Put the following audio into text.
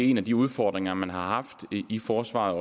en af de udfordringer man har haft i forsvaret